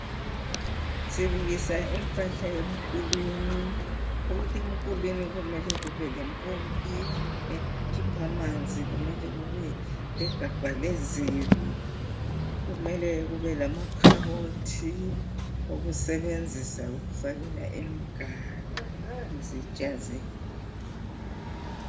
Sibukisa impahla emkulwini, ukuthi emkulwini kumele kubelempompi ekhipha amanzi kumele kube legabha lezibi, kumele kubelamakhabothi okusebenzisa ukufakela imiganu, izitsha zethu.